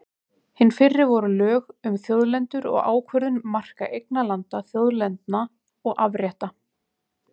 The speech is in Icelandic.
Hin fyrri voru lög um þjóðlendur og ákvörðun marka eignarlanda, þjóðlendna og afrétta.